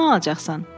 “Kimdən alacaqsan?”